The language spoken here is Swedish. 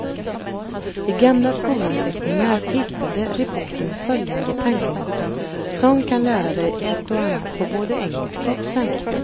I gamla skolanteckningar hittade reportern följande tankenötter som kan lära dig ett och annat på både engelska och svenska.